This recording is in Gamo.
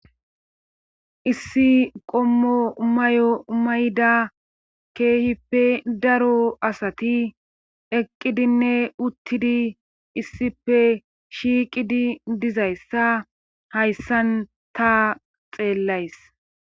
issi qommo mayo mayda keehippe daro asati eqqidinne uttidi issife shiiqidi dizayssa hayssan ta xeellays